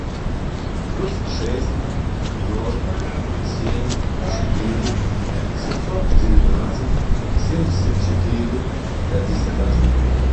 плюс шесть ноль семь четыре семьсот девятнадцать семьдесят четыре пятьдесят один